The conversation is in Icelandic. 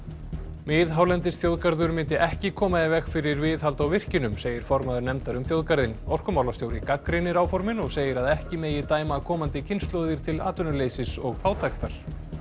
miðhálendisþjóðgarður myndi ekki koma í veg fyrir viðhald á virkjunum segir formaður nefndar um þjóðgarðinn orkumálastjóri gagnrýnir áformin og segir að ekki megi dæma komandi kynslóðir til atvinnuleysis og fátæktar